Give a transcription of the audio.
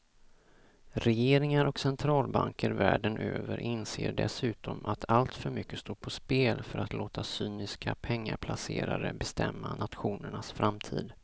Regeringar och centralbanker världen över inser dessutom att alltför mycket står på spel för att låta cyniska pengaplacerare bestämma nationernas framtid.